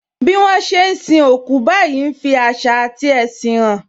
Bí wọn ṣe ń sin òkú báyìí ń fi àṣà ati ẹṣin hàn